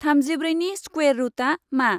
थामजिब्रैनि square रुटा मा?